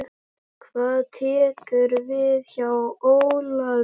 Hvað tekur við hjá Ólafi?